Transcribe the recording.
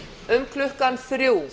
um klukkan þrjú